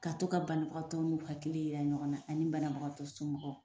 Ka to ka banabagatɔw n'u hakili yira ɲɔgɔn na ani banabagatɔ somɔgɔw